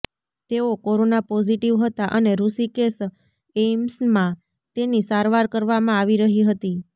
તેઓ corona positive હતા અને રૂષિકેશ એઈમ્સમાં તેની સારવાર કરવામાં આવી રહી હતી